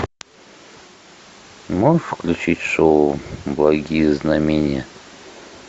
можешь включить шоу благие знамения